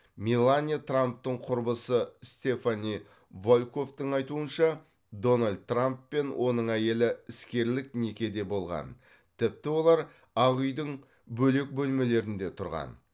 меланья трамптың құрбысы стефани волкоффтың айтуынша дональд трамп пен оның әйелі іскерлік некеде болған тіпті олар ақ үйдің бөлек бөлмелерінде тұрған